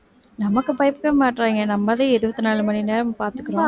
நமக்கு பயப்படவே மாட்டேங்கறாங்க நம்ம தான் இருபத்தி நாலு மணி நேரம் பாத்துக்கிறோம்